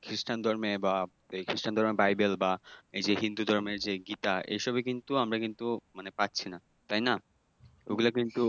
খ্রিষ্টান ধর্মে বা খ্রিষ্টান ধর্মের বাইবেল বা এই যে হিন্দু ধর্মের যে গীতা এসবে কিন্তু আমরা কিন্তু মানে পাচ্ছি না। তাই না? ওগুলা কিন্তু